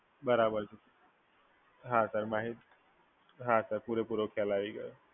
બરાબર છે. હા સર. હા સર પૂરેપૂરો ખ્યાલ આવી ગયો.